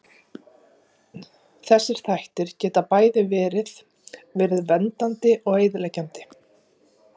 Þessir þættir geta bæði verið verið verndandi og eyðileggjandi.